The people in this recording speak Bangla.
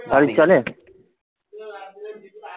টালির চালের